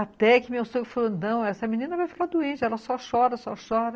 Até que meu sogro falou, não, essa menina vai ficar doente, ela só chora, só chora.